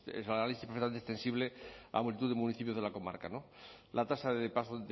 análisis perfectamente extensible a multitud de municipios de la comarca no la tasa de paro